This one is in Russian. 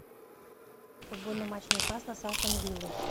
футбольный матч ньюкасла с астон виллой